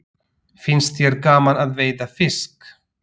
Finnst þér gaman að veiða fisk?